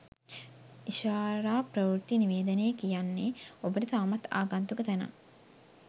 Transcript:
ඉෂාරා ප්‍රවෘත්ති නිවේදනය කියන්නේ ඔබට තවමත් ආගන්තුක තැනක්